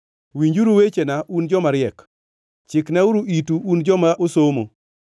“Winjuru wechena, un joma riek; chiknauru itu, un joma osomo.